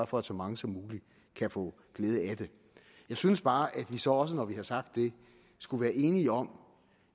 for at så mange som muligt kan få glæde af det jeg synes bare at vi så også når vi har sagt det skulle være enige om